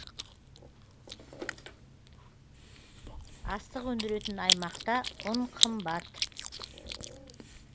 астық өндіретін аймақта ұн қымбат